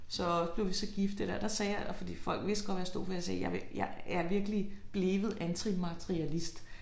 Så blev vi så gift det der sagde jeg der fordi folk vidste godt hvad jeg stod for jeg sagde jeg vil jeg jeg er virkelig blevet antimaterialist